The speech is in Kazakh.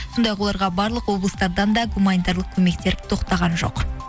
сондай ақ оларға барлық облыстардан да гуминарлық көмектер тоқтаған жоқ